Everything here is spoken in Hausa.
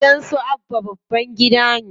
Gidan su Abba babban gida ne.